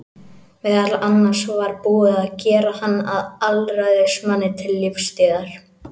Meðal annars var búið að gera hann að alræðismanni til lífstíðar.